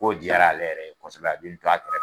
Ko diyara ale yɛrɛ kɔsɔbɛ a b'in to a kɛrɛ fɛ.